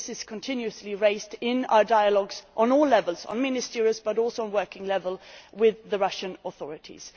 So this is continuously raised in our dialogues on all levels at ministerial level and at working level with the Russian authorities.